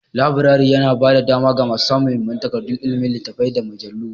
Laburaren yana ba da dama ga samun muhimman takardun ilimi, littattafai, da mujallu.